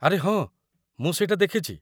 ଆରେ ହଁ! ମୁଁ ସେଇଟା ଦେଖିଛି।